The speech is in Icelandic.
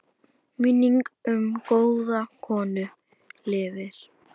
Minning um góða kona lifir.